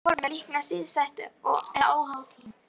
Í núverandi formi er líkanið sístætt eða óháð tíma.